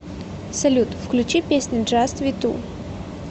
салют включи песня джаст ви ту